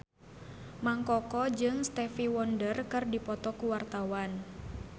Mang Koko jeung Stevie Wonder keur dipoto ku wartawan